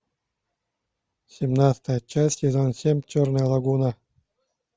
семнадцатая часть сезон семь черная лагуна